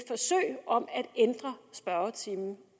ændre spørgetimen